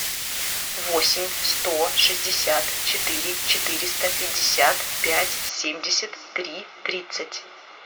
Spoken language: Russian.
восемь сто шестьдесят четыре четыреста пятьдесят пять семьдесят три тридцать